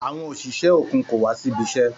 Àwọn òṣìṣẹ́ òkun kò wá síbi iṣẹ́.